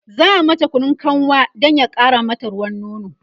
za'a mata Kunun kanwa Dan ya ƙara mata ruwan nono